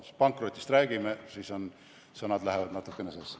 Kuna pankrotist räägime, siis sõnad lähevad natukene sassi.